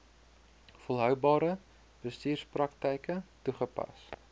volhoubare bestuurspraktyke toegepas